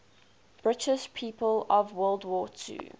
british people of world war ii